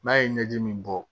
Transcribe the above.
N'a ye ɲɛji min bɔ